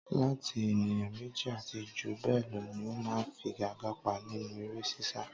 Láti ènìyàn méjì àti jù bẹ́ẹ̀ lọ ni ó máa ń figa-gbaga nínú eré sisa.